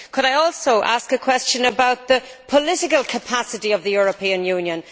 Could I also ask a question about the political capacity of the European Union?